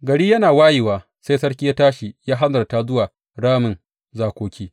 Gari yana wayewa, sai sarki ya tashi ya hanzarta zuwa ramin zakoki.